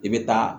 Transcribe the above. I bɛ taa